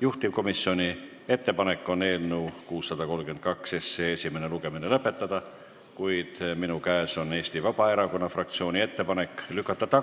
Juhtivkomisjoni ettepanek on eelnõu 632 esimene lugemine lõpetada, kuid minu käes on Eesti Vabaerakonna fraktsiooni ettepanek lükata